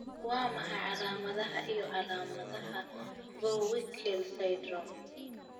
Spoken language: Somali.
Waa maxay calaamadaha iyo calaamadaha Vohwinkel syndrome?